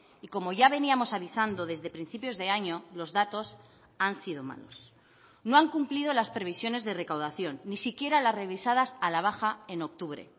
y como ya veníamos avisando desde principios de año los datos han sido malos no han cumplido las previsiones de recaudación ni siquiera las revisadas a la baja en octubre